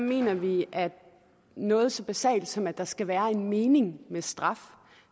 mener vi noget så basalt som at der skal være en mening med straf